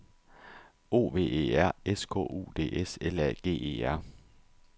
O V E R S K U D S L A G E R